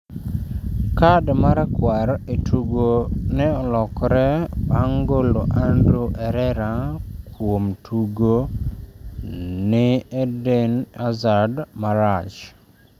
kad marakuar e tugo ne olokre bang' golo Ander Herera kuom tugo ni Eden Hazard marach